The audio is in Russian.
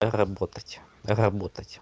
работать работать